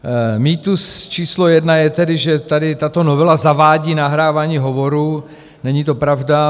Mýtus číslo jedna je tedy, že tady tato novela zavádí nahrávání hovorů, není to pravda.